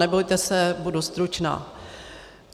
Nebojte se, budu stručná.